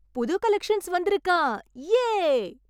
புது கலெக்ஷன்ஸ் வந்திருக்காம். யே!